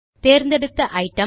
தேர்ந்தெடுத்த ஐட்டம்